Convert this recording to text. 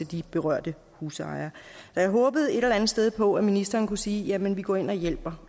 de berørte husejere så jeg håbede et eller andet sted på at ministeren kunne sige jamen vi går ind og hjælper